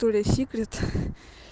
то ли секрет